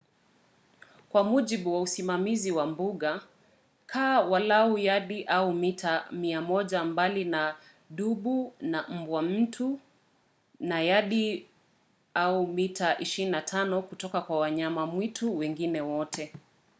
kwa mujibu wa usimamizi wa mbuga kaa walau yadi/mita 100 mbali na dubu na mbwa mwitu na yadi/mita 25 kutoka kwa wanyama mwitu wengine wote!